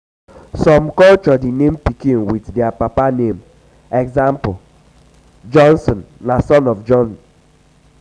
some culture de name pikin with their papa name eg. jonsson na son of jon